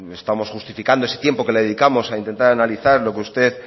estamos justificando ese tiempo que le dedicamos a intentar analizar lo que usted